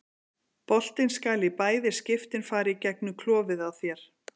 Boltinn skal í bæði skiptin fara í gegnum klofið á þér.